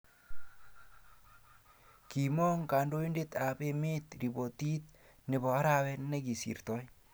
Kiimong kandoindet ab ememt ripotit noto arawet ne kisirtoi